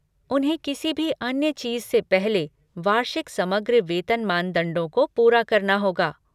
उन्हें किसी भी अन्य चीज़ से पहले वार्षिक समग्र वेतन मानदंडों को पूरा करना होगा।